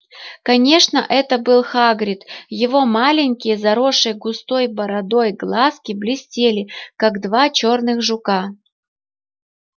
конечно это был хагрид его маленькие заросшие густой бородой глазки блестели как два черных жука